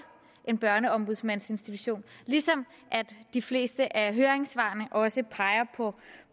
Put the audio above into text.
en børneombudsmandsinstitution ligesom de fleste af høringssvarene også peger